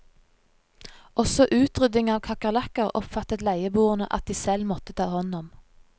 Også utrydding av kakerlakker oppfattet leieboerne at de selv måtte ta hånd om.